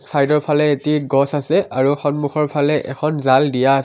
চাইডৰ ফালে এটি গছ আৰু সন্মুখৰ ফালে জাল দিয়া আছে।